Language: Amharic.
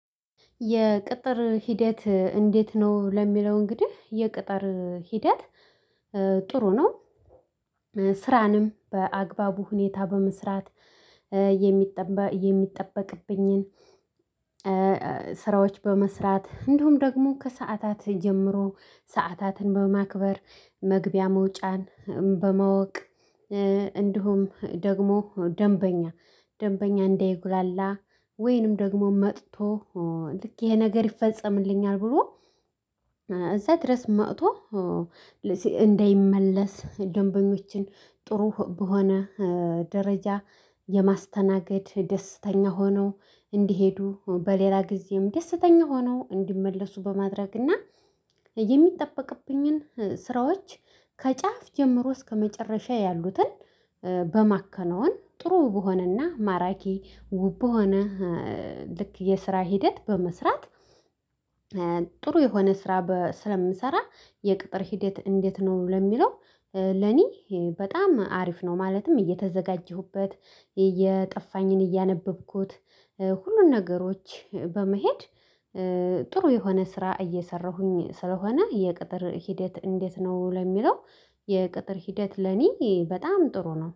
የቅጥር ሂደት እንዴት ነው? ለሚለው እንግዲህ የቅጥር ሂደት ጥሩ ነው። ስራንም በአግባቡ ሁኔታ በመስራት። የሚጠበቅብኝን ስራዎች በመስራት እንደሁም ደግሞ ከሰአታት ጀምሮ ሰዓታትን በማክበር መግቢያ መውጫን በማወቅ እንዲሁም ደግሞ ደንበኛ ደንበኛ እንዳይጉላላ ወይንም ደግሞ መጥቶ ልክ እሄ ነገር ይፈጸምልኛል ብሎ እዛ ድረስ መጥቶ። እንዳይመለስ ደንበኞችን ጥሩ በሆነ ደረጃ የማስተናገድ ደስተኛ ሆነው እንዲሄዱ በሌላ ግዜም ደስተኛ ሆነው እንዲመለሱ በማድረግና። የሚጠበቅብኝን ስራዎች ከጫፍ ጀምሮ እስከመጨረሻ ያሉትን በማከነውን ጥሩ በሆነና ማራኪ ውብ በሆነ ልክ የስራ ሂደት በመስራት። ጥሩ የሆነ ስራ ስለምሰራ። የቅጥር ሂዴት እንዴት ነው? ለሚለው ለኔ በጣም አሪፍ ነው። ማለትም እየተዘጋጀሁበት እየጠፋኝን እያነበብኩት ሁሉን ነገሮች በመሄድ። ጥሩ የሆነ ስራ እየሰራሁኝ ስለሆነ የቅጥር ሂደት እንዴት ነው? ለሚለው የቅጥር ሂደት ለኔ በጣም ጥሩ ነው